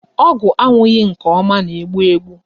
Ọgwụ aṅụghị nke ọma na-egbu egbu.